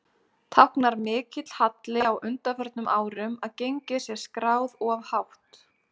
Táknar mikill halli á undanförnum árum að gengið sé skráð of hátt?